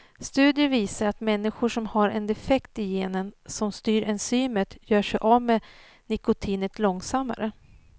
Studier visar att människor som har en defekt i genen som styr enzymet gör sig av med nikotinet långsammare.